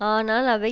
ஆனால் அவை